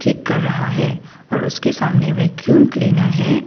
ठीक कर रहा हैं और उसके सामने वैक्यूम क्लीनर है।